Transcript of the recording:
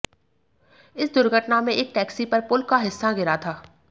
इस दुर्घटना में एक टैक्सी पर पुल का हिस्सा गिरा था